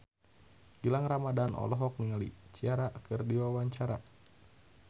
Gilang Ramadan olohok ningali Ciara keur diwawancara